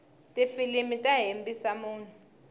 tifilimu ta hembisa munhu